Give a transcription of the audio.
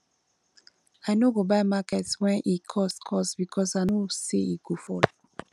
i no go buy market wen e cost cost because i know sey e go fall